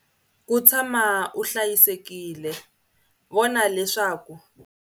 Ku tshama u hlayisekile, vona leswaku.